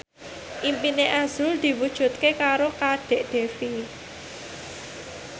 impine azrul diwujudke karo Kadek Devi